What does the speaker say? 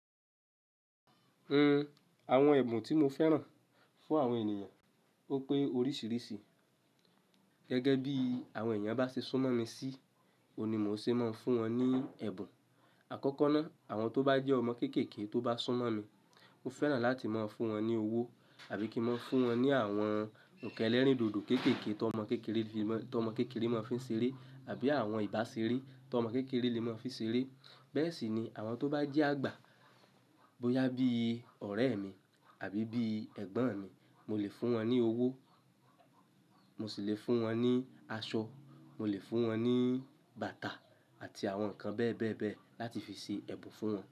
Hmm, àwọn ẹ̀bùn tí mo fẹ́ràn fún àwọn ènìyàn ó pé oríṣìíríṣìí. Gẹ́gẹ́ bí àwọn ènìyàn bá ṣe súnmọ́ mi sí, òun ní mo ṣe máa ń fún wọn ní ẹ̀bùn. Àkọ́kọ́ náà, àwọn tó bá jẹ́ ọmọ kéékèèké tó bá súnmọ́ mi, mo fẹ́ràn láti máa ń fún wọn ní owó àbí kí n maa fún wọn ní àwọn ǹkan ẹ́lẹ́ríndòdò kéékèèké tọmọ kéékèèké fi máa, tó ọmọ kéékèèké máa fi ń ṣeré àbí àwọn ìbáṣeré tómọ kéékèèké lè máa fi ń ṣeré. Bẹ́ẹ̀ sì ni àwọn tó bá jẹ́ àgbà, bóyá bí ọ̀rẹ́ mi àbí bí ẹ̀gbọ́n mi, mo lè fún wọn ní owó, mo sì lè fún wọn ní aṣọ, mo lè fún wọn ní bàtà àti àwọn nǹkan bẹ́ẹ̀ bẹ́ẹ̀ bẹ́ẹ̀ láti fi ṣe ẹ̀bùn fún wọn.